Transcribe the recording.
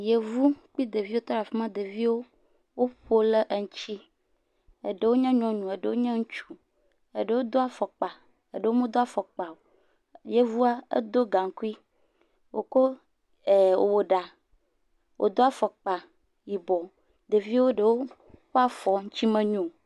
Yevu kple ɖeviwo tɔ ɖe afi ma, ɖevio woƒo ɖe wo ŋuti, eɖewo nye nyɔnu, eɖewo nye ŋutsu, eɖewo do afɔkpa, eɖewo medo afɔkpa o, yevua eɖo gaŋkui, wòko wòwɔ ɖa, wòdo afɔkpa yibɔ, ɖeviwo ɖewo ƒe afɔ ŋuti menyɔo.